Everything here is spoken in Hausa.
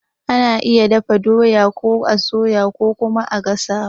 Ana iya dafa doya ko a soyawa ko kuma a gasawa.